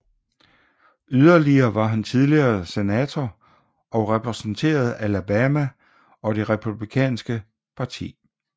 Yderligere var han tidligere senator og repræsenterede Alabama og Det republikanske parti